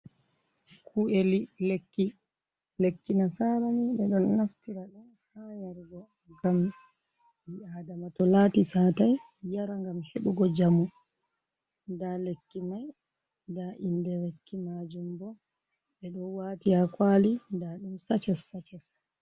Ku’eli liɗ lekki. Lekki nasarani ɓe ɗon naftira don haa yarugo ngam ɓii aadama to lati satai yara ngam heɓugo jamu. Nda lekki mai nda inde lekki majum bo ɓe ɗo wati haa kwali, nda ɗum saces-saces.